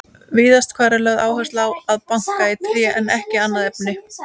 Víðast hvar er lögð áhersla á að banka í tré en ekki annað efni.